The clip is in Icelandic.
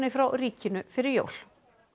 frá ríkinu fyrir jól